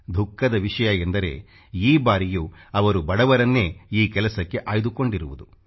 ದುಃಖದ ವಿಷಯ ಎಂದರೆ ಈ ಬಾರಿಯೂ ಅವರು ಬಡವರನ್ನೇ ಈ ಕೆಲಸಕ್ಕೆ ಆಯ್ದುಕೊಂಡಿರುವುದು